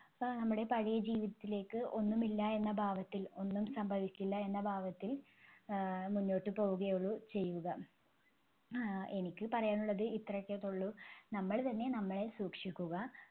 ആഹ് നമ്മടെ പഴയ ജീവിതത്തിലേക്ക് ഒന്നുമില്ല എന്ന ഭാവത്തിൽ ഒന്നും സംഭവിക്കില്ല എന്ന ഭാവത്തിൽ ആഹ് മുന്നോട്ട് പോവുകയേ ഉള്ളൂ ചെയ്യുക. ആഹ് എനിക്ക് പറയാനുള്ളത് ഇത്രയൊക്കെ ഉള്ളൂ. നമ്മള് തന്നെ നമ്മളെ സൂക്ഷിക്കുക.